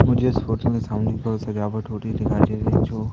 मुझे इस फोटो में सामने की ओर सजावट होती दिखाई दे रही जो--